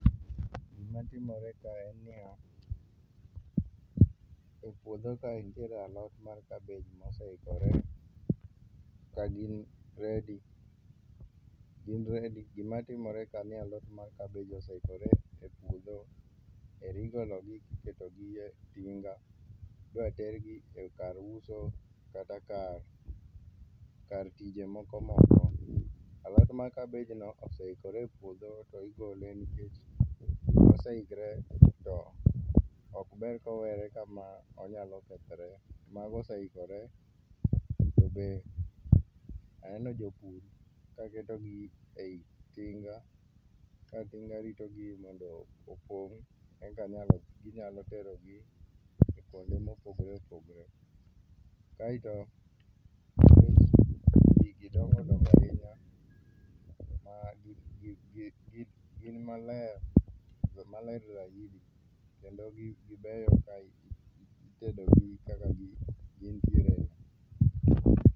gima timore kae en niya e puodho kae nitie alot mar kabej moseikore ka gin ready gin ready gima timore ka ni alot mar kabej oseikore e puodho eri gologi kiketo gi e tinga idwa tergi kar uso kata kar kar tije moko o imondo alot mar kabejno oseikore e puodho tigole nikech oseikore mondo ok ber kowere kama onyalo kethore mago oseikore to be aneno japur ka keto gi ei tinga ka tinga ritogi mondo opong eka nyalo ginyalo tero gi kuonde mopogore opogore .Kae to gidongodongo ahinya ma gi gi gi gin maler maler zaidi kendo gi gibeyo zaidi itedo gi kaka gintiere no.